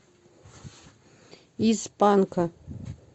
из панка